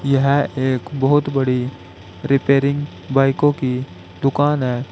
यह एक बहुत बड़ी रिपेयरिंग बाइकों की दुकान है।